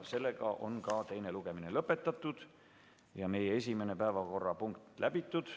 Seega on teine lugemine lõpetatud ja meie esimene päevakorrapunkt läbitud.